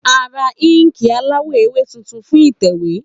A ra inki alawọ ewe tuntun fun itẹwe